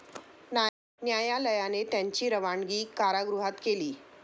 न्यायालयाने त्यांची रवानगी कारगृहात केली.